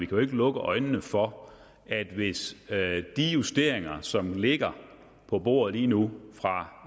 kan lukke øjnene for at hvis de justeringer som ligger på bordet lige nu fra